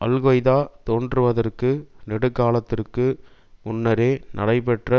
al Qaeda தோன்றுவதற்கு நெடு காலத்திற்கு முன்னரே நடைபெற்ற